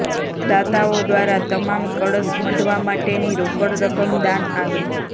દાતાઓ દ્વારા તમામ કળશ મઢવા માટેની રોકડ રકમ દાન આવી